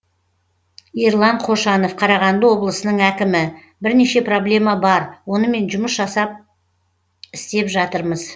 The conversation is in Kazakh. ерлан қошанов қарағанды облысының әкімі бірнеше проблема бар онымен жұмыс жасап істеп жатырмыз